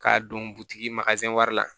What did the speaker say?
K'a don butigi mazɛn wari la